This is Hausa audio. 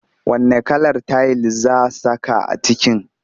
Wanne kalar tayil za saka a kicin?